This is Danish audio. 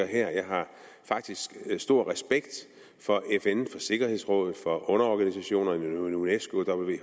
her jeg har faktisk meget stor respekt for fn og for sikkerhedsrådet for underorganisationerne unesco